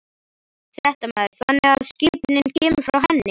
Fréttamaður: Þannig að skipunin kemur frá henni?